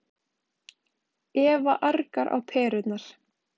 Eva argar á perurnar.